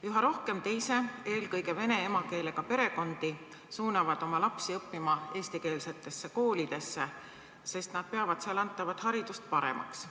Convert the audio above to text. Üha rohkem teise, eelkõige vene emakeelega perekondi suunab oma lapsi õppima eestikeelsesse kooli, sest nad peavad seal antavat haridust paremaks.